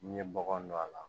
N'i ye bɔgɔ don a la